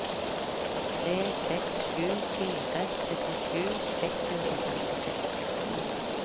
tre seks sju fire syttisju seks hundre og femtiseks